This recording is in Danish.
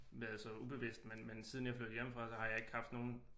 Været så ubevidst men men siden jeg flyttede hjemmefra så har jeg ikke haft nogen